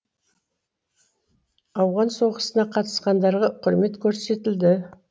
ауған соғысына қатысқандарға құрмет көрсетілді